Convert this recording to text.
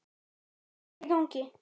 HVAÐ ER Í GANGI??